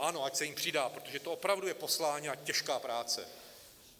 Ano, ať se jim přidá, protože to opravdu je poslání a těžká práce.